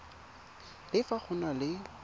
le fa go na le